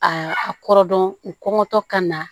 Aa a kɔrɔ dɔn u kɔngɔtɔ ka na